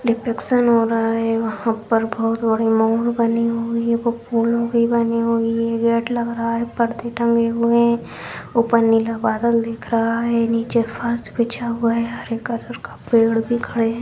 Reflection हो रहा है वहां पर मोर बनी हुई है वो फूलों की बनी हुई है गेट लग रहा है परदे टंगे हुए है ऊपर नीला बादल दिख रहा है नीचे फर्श बिछा हुआ है हरे कलर का पेड़ दिख रहे है।